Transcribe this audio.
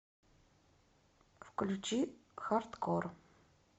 включи хардкор